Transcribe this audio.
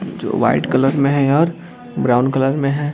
जो white colour मे है और ब्राउन कलर मे है।